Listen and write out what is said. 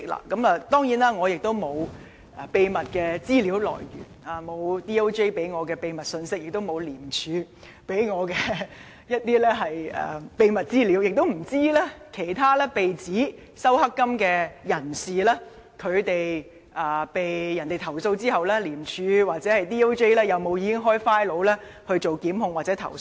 當然，我並沒有秘密的資料來源，律政司沒有給我秘密信息，廉政公署亦沒有給我秘密資料，更不知道其他被指收受"黑金"的人在被投訴後，廉署或律政司是否已經開立檔案進行檢控或投訴。